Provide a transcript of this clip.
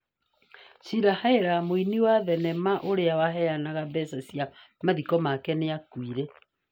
Shirley Hellyar, mũini wa thenema ũrĩa waheanaga mbeca cia mathiko make, nĩ akuire